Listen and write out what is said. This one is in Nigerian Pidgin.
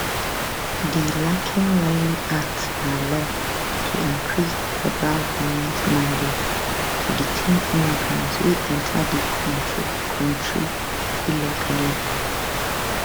di laken riley act na law to increase di federal goment mandate to detain immigrants wey enta di kontri kontri illegally